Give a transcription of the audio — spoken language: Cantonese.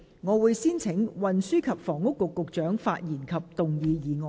我請運輸及房屋局局長發言及動議議案。